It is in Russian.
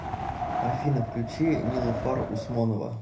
афина включи нилуфар усмонова